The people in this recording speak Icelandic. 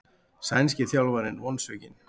Sænski þjálfarinn vonsvikinn